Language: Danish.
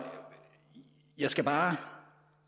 jeg skal bare